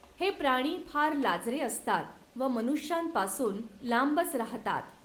हे प्राणी फार लाजरे असतात व मनुष्यांपासून लांबच राहातात.